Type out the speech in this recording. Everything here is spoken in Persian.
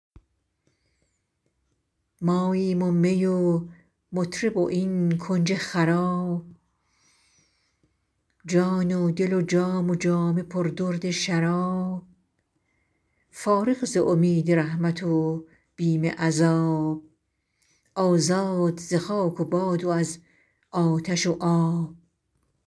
ماییم و می و مطرب و این کنج خراب جان و دل و جام و جامه پر درد شراب فارغ ز امید رحمت و بیم عذاب آزاد ز خاک و باد و از آتش و آب